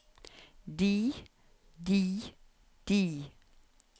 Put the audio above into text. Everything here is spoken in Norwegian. de de de